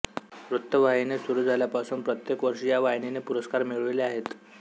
वृत्तवाहिनी सुरू झाल्यापासून प्रत्येक वर्षी या वाहिनीने पुरस्कार मिळविले आहेत